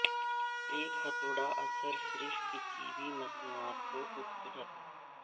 ایک ہتوڑا اثر صرف کسی بھی مصنوعات کو خوبصورت